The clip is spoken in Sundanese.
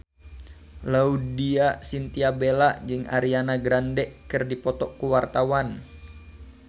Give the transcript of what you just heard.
Laudya Chintya Bella jeung Ariana Grande keur dipoto ku wartawan